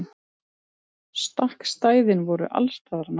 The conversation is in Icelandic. Stakkstæðin voru allsstaðar nálæg.